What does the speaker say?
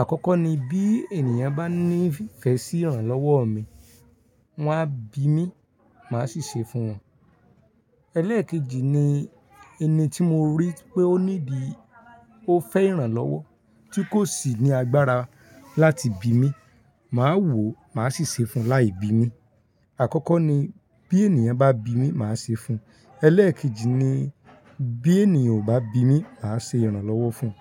Àkọ́kọ́ ni bí ènìyàn bá ní ìfẹ́ sí ìrànlọ́wọ́ mi, wọ́n á bi mí, màá sì ṣe fún wọn. Eléekejì ni ẹni tí mo rí pé ó need, ó fẹ́ ìrànlọ́wọ́ tí kò sì ní agbára láti bi mí, màá wò, màá sì ṣe fún láì bi mi. Àkọ́kọ́ ni bí ènìyàn bá bi mí, màá ṣe fún un. Elékejì ni bí ènìyàn ò bá bi mi, màá ṣe ìrànlọ́wọ́ fún un.